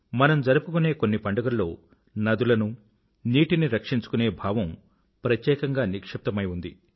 మనం జరుపుకునే కొన్ని పండుగల్లో నదులను నీటిని రక్షించుకునే భావం ప్రత్యేకంగా నిక్షిప్తమై ఉంది